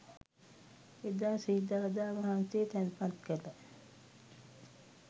එදා ශ්‍රී දළදා වහන්සේ තැන්පත් කළ